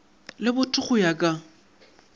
le botho go ya ka